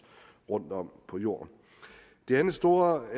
rundtom på jorden det andet store